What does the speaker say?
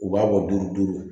U b'a bɔ duuru duuru